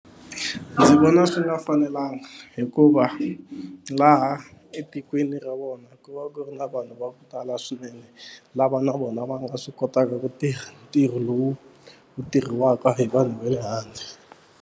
Ndzi vona swi nga fanelanga hikuva laha etikweni ra vona ku va ku ri na vanhu va ku tala swinene lava na vona va nga swi kotaka ku tirha ntirho lowu wu tirhisiwaka hi vanhu va le handle.